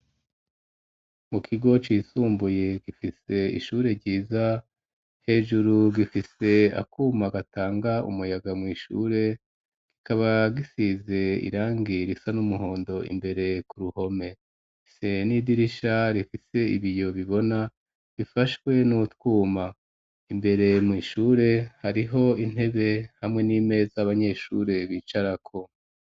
Mu kigo cisumbuye, gifise ishure ryiza, hejuru gifise akuma gatanga umuyaga mw'ishure, kikaba gisize irangi risa n'umuhondo imbere ku ruhome, gifise n'idirisha rifise ibiyo bibona bifashwe n'utwuma; imbere mw'ishure hariho intebe hamwe n'imeza, abanyeshure bicarako.